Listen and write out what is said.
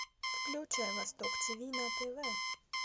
включай восток тиви на тв